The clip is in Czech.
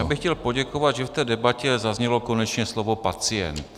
Já bych chtěl poděkovat, že v té debatě zaznělo konečně slovo pacient.